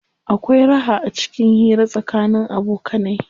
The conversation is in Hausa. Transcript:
Akwai raha acikin hira tsakanin abokanai.